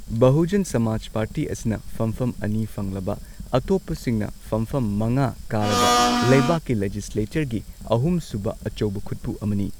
Bahujan Samaj party ꯑꯁꯤꯅ ꯐꯝꯐꯝ ꯑꯅꯤ ꯐꯪꯂꯕ ꯑꯇꯣꯞꯄꯁꯤꯡꯅ ꯐꯝꯐꯝ ꯃꯉꯥ ꯀꯥꯔꯕ ꯂꯩꯕꯥꯛꯀꯤ ꯂꯦꯖꯤꯁꯂꯦꯆꯔꯒꯤ ꯑꯍꯨꯝ ꯁꯨꯕ ꯑꯆꯧꯕ ꯈꯨꯠꯄꯨ ꯑꯃꯅꯤ꯫